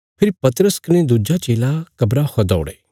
फेरी पतरस कने दुज्जा चेला कब्रा खौ दौड़े